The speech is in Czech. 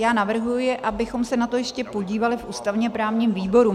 Já navrhuji, abychom se na to ještě podívali v ústavně-právním výboru.